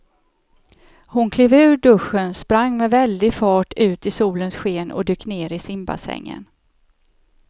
Hon klev ur duschen, sprang med väldig fart ut i solens sken och dök ner i simbassängen.